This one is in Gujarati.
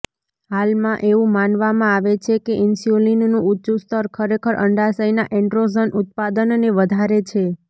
હાલમાં એવું માનવામાં આવે છે કે ઇન્સ્યુલિનનું ઊંચું સ્તર ખરેખર અંડાશયના એન્ડ્રોજન ઉત્પાદનને વધારે છે